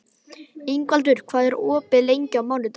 Ingvaldur, hvað er opið lengi á mánudaginn?